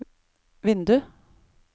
vindu